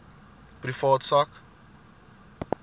privaat sak